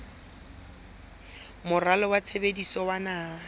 moralo wa tshebetso wa naha